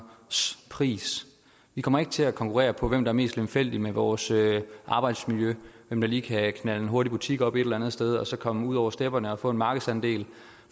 pris vi kommer ikke til at konkurrere på hvem der er mest lemfældige med vores arbejdsmiljø hvem der lige kan knalde en hurtig butik op et eller andet sted og så komme ud over stepperne og få en markedsandel